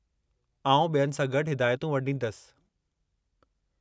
आउं ॿियनि सां गॾु हिदायतूं वंडींदसि।